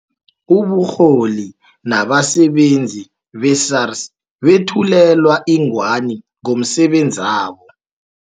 Uburholi nabasebenzi be-SARS bethulelwa ingwani ngomsebenzabo.